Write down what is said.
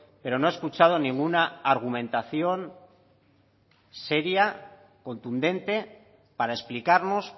pero no he escuchado ninguna argumentación seria contundente para explicarnos